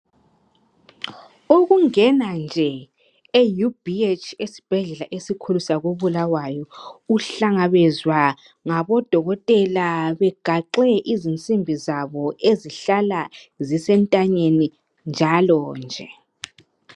Ukungena nje e UBH esibhedlela esikhulu sako Bulawayo, uhlangabezwa ngabodokotela begaxe izinsimbi zabo ezihlala zisentanyeni njalonje.